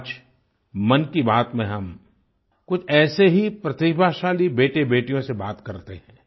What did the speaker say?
आज मन की बात में हम कुछ ऐसे ही प्रतिभाशाली बेटेबेटियों से बात करते हैं